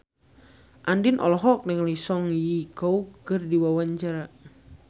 Andien olohok ningali Song Hye Kyo keur diwawancara